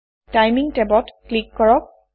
timing টেবত click কৰক